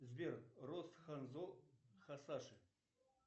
сбер рост ханзо хасаши